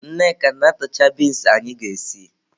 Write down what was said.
Nneka na-atụcha binsi anyị ga-esi.